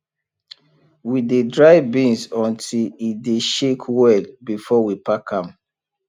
we dey dry beans until e dey shake well before we pack am